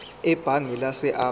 ebhange lase absa